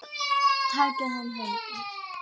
Takið hann höndum.